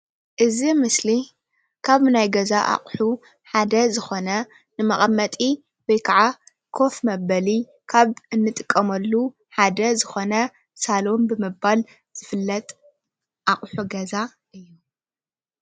እዚ ምስሊ ካብ ናይ ገዛ ኣቁሑ ሓደ ዝኾነ ንመቀመጢ ወይ ከዓ ኮፍ መበሊ ካብ እንጥቀመሉ ሓደ ዝኾነ ሳሉን ብምባል ዝፍለጥ ኣቁሑ ገዛ እዩ።